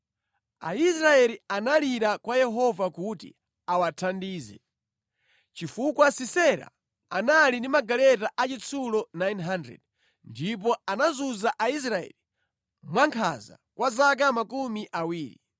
Aisraeli analira kwa Yehova kuti awathandize, chifukwa Sisera anali ndi magaleta achitsulo 900 ndipo anazunza Aisraeli mwankhanza kwa zaka makumi awiri.